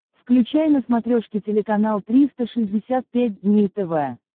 включай на смотрешке телеканал триста шестьдесят пять дней тв